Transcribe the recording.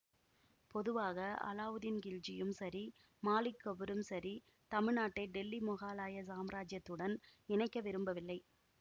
பொதுவாக அலாவுதீன்கில்ஜியும் சரி மாலிக் கபூரும் சரி தமிழ் நாட்டை டெல்லி மொகலாய சாம்ராஜ்ஜியத்துடன் இணைக்க விரும்பவில்லை